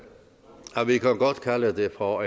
kalde det for